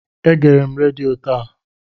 Egere m redio taa.